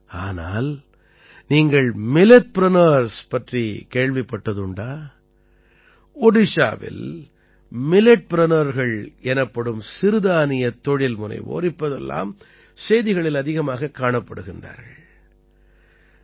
ஆனால் நீங்கள் மில்லெட்பிரினியர்ஸ் பற்றிக் கேள்விப்பட்டதுண்டா ஒடிஷாவில் Milletpreneurகள் எனப்படும் சிறுதானியத் தொழில்முனைவோர் இப்போதெல்லாம் செய்திகளில் அதிகமாகக் காணப்படுகிறார்கள்